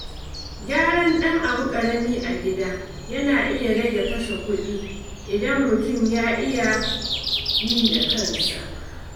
Gyaran ɗan ƙaramin abu a gida yana iya rage kashe kuɗi idan mutum ya iya yi da kansa.